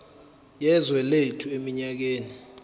yezwe lethu eminyakeni